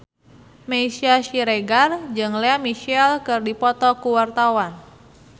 Meisya Siregar jeung Lea Michele keur dipoto ku wartawan